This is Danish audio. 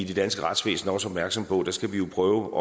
det danske retsvæsen også opmærksomme på skal vi prøve